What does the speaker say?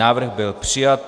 Návrh byl přijat.